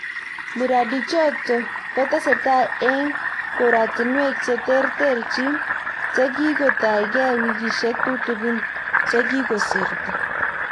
Miradiichoto kotesetai eng koratinwek che tertechiin che kiitoigai wikisyek tutigiin che kigosirto